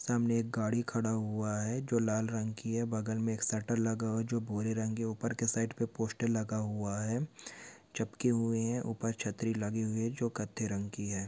सामने एक गाड़ी खड़ा हुआ है जो लाल रंग की है बग़ल में एक शटर लगा हुआ है जो भूरे रंग की है ऊपर के साइड पे पोस्टर लगा हुआ है चपके हुए है ऊपर छतरी लगी हुई है जो कत्थे रंग की है।